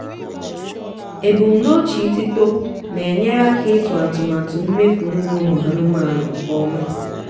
ebumnuche itito na-enyere aka ịtụ atụmatụ mmefu nri umu aụmanụe nke ọma.